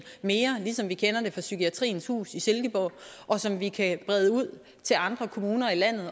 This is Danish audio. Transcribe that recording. mere ligesom vi kender det fra psykiatriens hus i silkeborg og som vi kan brede ud til andre kommuner i landet